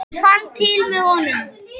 Ég fann til með honum.